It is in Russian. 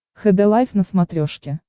хд лайф на смотрешке